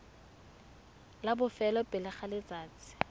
la bofelo pele ga letsatsi